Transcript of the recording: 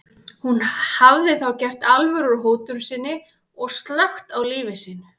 Hún hafði þá gert alvöru úr hótun sinni og slökkt á lífi sínu.